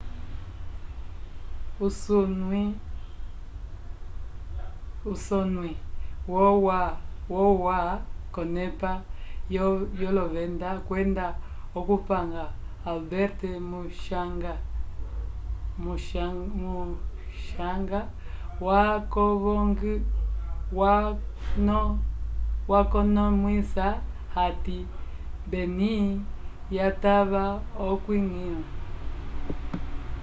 usonwi wo ua k'onepa yolovenda kwenda okupanga albert muchanga wakonomwisa hati benim yatava okwiñgila